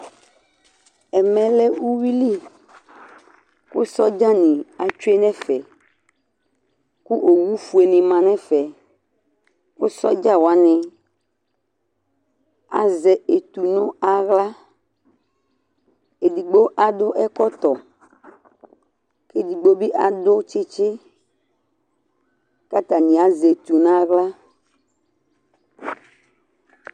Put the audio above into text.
ɛmɛ lɛ uwili, kʊ sodzanɩ tsue nʊ ɛfɛ, kʊ owufuenɩ ma nʊ ɛfɛ, kʊ sodzawanɩ azɛ ɛtu nʊ aɣla, edigbo akɔ ɛkɔtɔ kʊ edigbo bɩ akɔ tsitsi, kʊ atanɩ azɛ etu n'aɣla